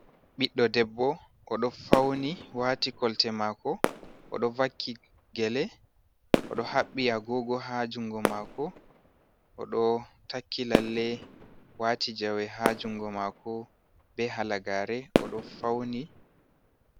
ɓiɗdo debbo oɗo fauni wati kolte mako, oɗo vakki gelé, oɗo haɓɓi agogo ha jungo mako, oɗo takki lalle wati jawe ha jungo mako be hala gare, oɗo fauni.